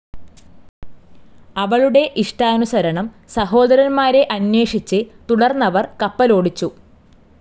അവളുടെ ഇഷ്ടാനുസരണം സഹോദരന്മാരെ അന്വേഷിച്ചു തുടർന്നവർ കപ്പലോടിച്ചു.